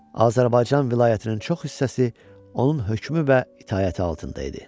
Azərbaycan vilayətinin çox hissəsi onun hökmü və itaəti altında idi.